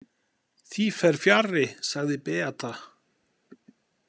Því fer fjarri, sagði Beata.